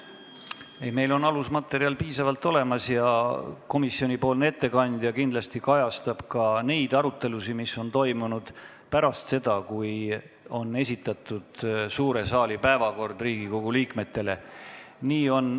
Meil on alusmaterjali piisavalt ja komisjoni ettekandja kindlasti kajastab ka neid arutelusid, mis on toimunud pärast seda, kui suure saali päevakord on Riigikogu liikmetele esitatud.